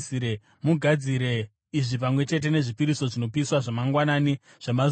Mugadzire izvi pamwe chete nezvipiriso zvinopiswa zvamangwanani zvamazuva ose.